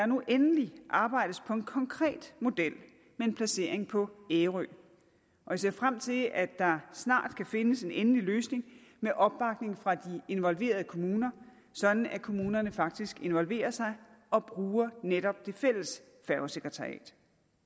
nu endelig arbejdes på en konkret model med en placering på ærø og jeg ser frem til at der snart kan findes en endelig løsning med opbakning fra de involverede kommuner sådan at kommunerne faktisk involverer sig og bruger netop det fælles færgesekretariat